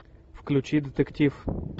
включи детектив